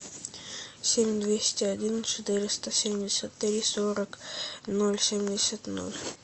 семь двести один четыреста семьдесят три сорок ноль семьдесят ноль